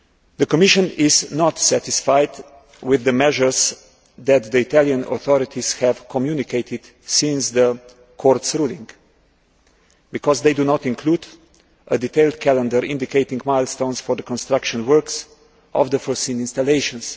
The Commission is not satisfied with the measures that the Italian authorities have communicated since the Court's ruling because they do not include a detailed calendar indicating milestones for the construction works of the foreseen installations.